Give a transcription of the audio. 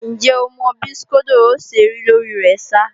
Ǹjẹ́ o mọ bí skódó ó ṣe rí lórí rẹ ṣá?